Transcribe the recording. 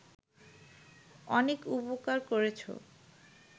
অনেক উপকার করেছো